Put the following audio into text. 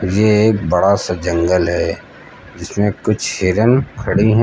यह एक बड़ा सा जंगल है जिसमें कुछ हिरण खड़ी हैं।